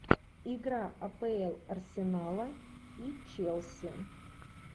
игра апл арсенала и челси